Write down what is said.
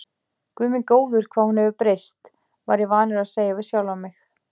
Guð minn góður, hvað hún hefur breyst, var ég vanur að segja við sjálfan mig.